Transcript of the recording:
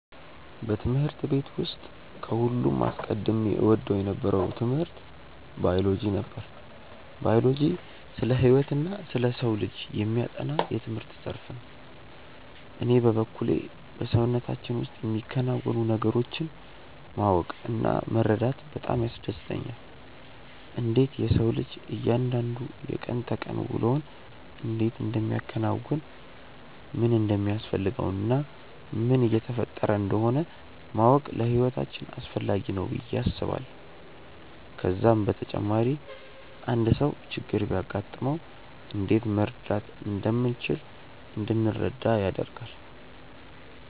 በትምህርት ቤት ውስጥ ከሁሉም አስቀድሜ እወደው የነበረው ትምህርት ባዮሎጂ ነበር። ባዮሎጂ ስለ ህይወትና ስለ ሰው ልጅ የሚያጠና የትምህርት ዘርፍ ነው። እኔ በበኩሌ በሰውነታችን ውስጥ የሚከናወኑ ነገሮችን ማወቅ እና መረዳት በጣም ያስደስተኛል። እንዴት የሰው ልጅ እያንዳንዱ የቀን ተቀን ውሎውን እንዴት እንደሚያከናውን፣ ምን እንደሚያስፈልገው እና ምን እየተፈጠረ እንደሆነ ማወቅ ለህይወታችን አስፈላጊ ነው ብዬ አስባለሁ። ከዛም በተጨማሪ አንድ ሰው ችግር ቢያጋጥመው እንዴት መርዳት እንደምንችል እንድንረዳ ያደርጋል።